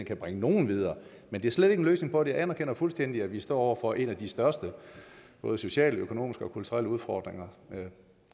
kan bringe nogle videre men det er slet ikke en løsning på det jeg anerkender fuldstændig at vi står over for en af de største både sociale økonomiske og kulturelle udfordringer